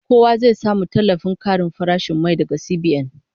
Kowa zai samu tallafin karin farashin mai daga CBN